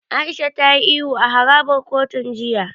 Aisha ta yi ihu a harabar kotun jiya.